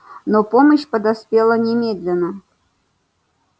но помощь подоспела немедленно